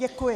Děkuji.